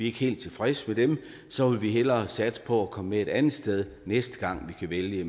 ikke helt tilfredse med dem så vil vi hellere satse på at komme med et andet sted næste gang vi skal vælge